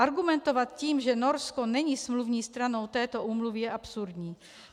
Argumentovat tím, že Norsko není smluvní stranou této úmluvy, je absurdní.